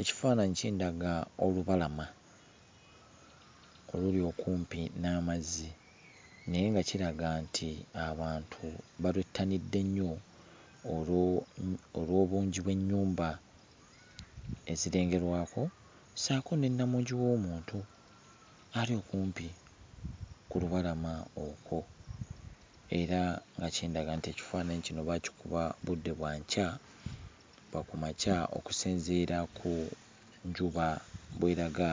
Ekifaananyi kindaga olubalama oluli okumpi n'amazzi naye nga kiraga nti abantu balwettanidde nnyo olwo olw'obungi bw'ennyumba ezirengerwako ssaako ne namungi w'omuntu ali okumpi ku lubalama okwo, era nga kindaga nti ekifaananyi kino baakikuba budde bwa nkya, bwa ku makya okusinziira ku njuba bw'eraga